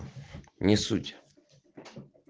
не суть